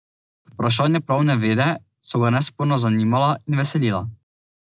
Vprašanja pravne vede so ga nesporno zanimala in veselila.